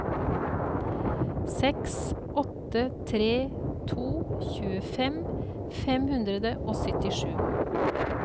seks åtte tre to tjuefem fem hundre og syttisju